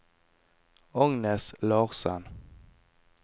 Agnes Larssen